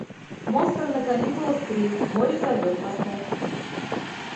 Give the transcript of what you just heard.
монстры на каникулах три море зовет поставь